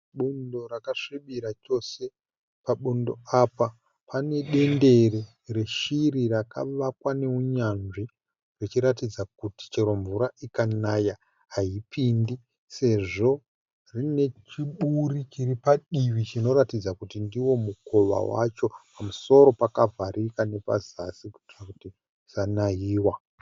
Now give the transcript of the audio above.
Bundo rakasvibira chose. Pabundo apa pane dendere reshiri rakavakwa neunyanzvi zvichiratidza kuti chero mvura ikanaya haipidi sezvo rine chiburi chiri padivi chinoratidza kuti ndiwo mukova wacho pamusoro pakavharika nepazasi kuitira kuti isanaiwa.